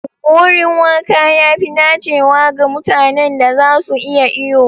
Wurin wanka ya fi dacewa ga mutanen da za su iya iyo.